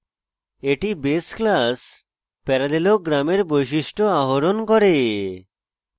এটি base class parallelogram এর বৈশিষ্ট্য আহরণ করে